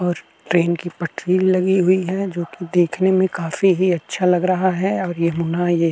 ओर train की पटरी लगी हुई है जोकि देखने मे काफी ही अच्छा लग रहा है ओर ये होना ये --